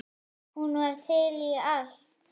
Hún var til í allt.